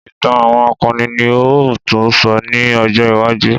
Ìtàn àwọn akọni ni a ó tún sọ ní ọjọ́ iwájú